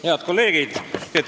Head kolleegid!